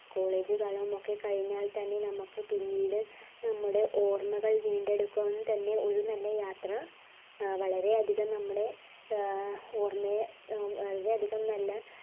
college കാലമൊക്കെ കഴിഞ്ഞാൽ തന്നെ നമ്മുക് പിന്നീട് നമ്മടെ ഓർമ്മകൾ വീണ്ടെടുക്കാൻ തന്നെ ഒരു നല്ല യാത്ര വളരെ അധികം നമ്മടെ ഏർ ഓർമ്മയെ വളരെ അധികം നല്ല